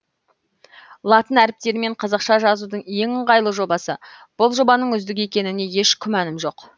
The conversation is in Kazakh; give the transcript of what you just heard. латын әріптерімен қазақша жазудың ең ыңғайлы жобасы бұл жобаның үздік екеніне еш күмәнім жоқ